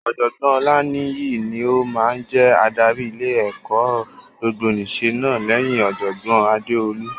Ọ̀jọ̀gbọ́n Olaniyi ni ó máa jẹ adarí ilé-ẹ̀kọ́ gbogbonìṣe náà lẹ́yìn Ọ̀jọ̀gbọ́n Adeolu.